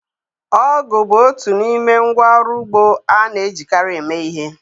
Ọgụ bụ otu n'ime ngwa ọrụ ugbo a na-ejikarị eme ihe.